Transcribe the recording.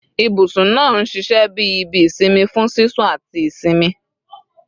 Ibusun naa n ṣiṣẹ bi ibi isinmi fun sisun ati isinmi